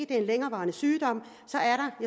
det er en længerevarende sygdom